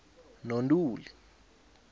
nontuli